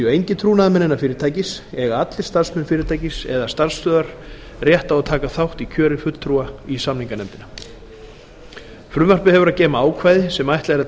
engir trúnaðarmenn innan fyrirtækis eiga allir starfsmenn fyrirtækis eða starfsstöðvar rétt á að taka þátt í kjöri fulltrúa í samninganefndina frumvarpið hefur að geyma ákvæði sem er ætlað að